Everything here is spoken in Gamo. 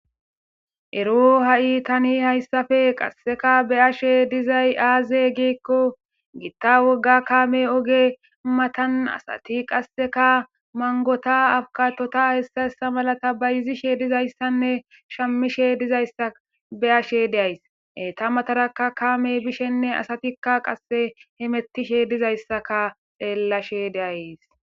Ero ha'i tani hayssafe qasseka be ashe dizay aaze geekko gitta wogga kaame oge matan asati qasseka mangota akatota hessa essa malata bayizishe dizayssanne shamishe dizaysa be ashe deays eta matarakka kaame bishenne asatikka qasse hemettishe dizayssaka xeellashe deays.